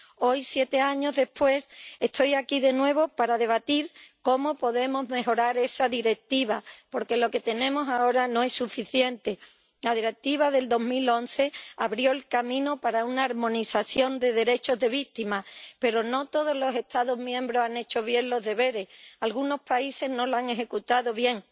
Hoy, siete años después, estoy aquí de nuevo para debatir cómo podemos mejorar esa Directiva, porque lo que tenemos ahora no es suficiente. La Directiva de 2011 abrió el camino para una armonización de los derechos de las víctimas, pero no todos los Estados miembros han hecho bien los deberes algunos países no la han aplicado bien.